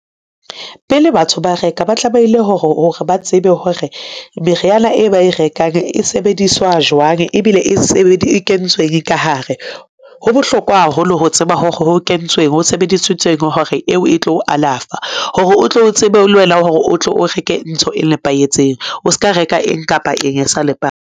Pele batho ba reka, ba tlameile hore ba tsebe hore meriana e ba e rekang e sebediswa jwang ebile e kentsweng ka hare. Ho bohlokwa haholo ho tseba hore ho kentsweng ho sebedisitsweng hore eo e tlo o alafa hore o tlo tsebe le wena hore o tlo o reke ntho e nepahetseng, o ska reka eng kapa eng e sa nepa.